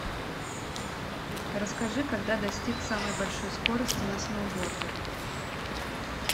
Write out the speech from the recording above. расскажи когда достиг самой большой скорости на сноуборде